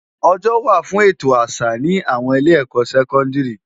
Òjò wá fún ètó àsá ni áwòn ilé èkò sèkòndiri